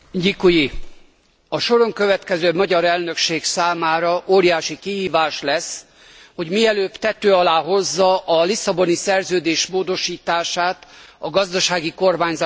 A soron következő magyar elnökség számára óriási kihívás lesz, hogy mielőbb tető alá hozza a Lisszaboni Szerződés módosítását, a gazdasági kormányzás bevezetését.